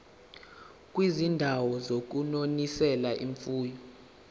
kwizindawo zokunonisela imfuyo